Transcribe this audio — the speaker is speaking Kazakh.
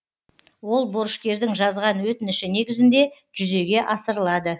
ол борышкердің жазған өтініші негізінде жүзеге асырылады